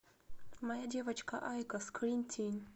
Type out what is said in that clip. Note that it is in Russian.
моя девочка айко скримтин